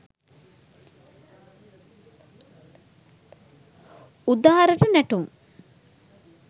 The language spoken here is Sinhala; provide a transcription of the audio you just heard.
udarata natum